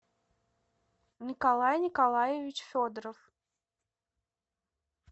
николай николаевич федоров